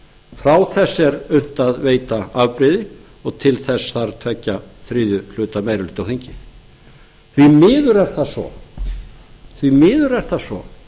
frá þessu er unnt að veita afbrigði og til þess þarf tveggja þriðju hluta meiri hluta á þingi því miður er það svo